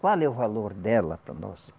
Qual é o valor dela para nós?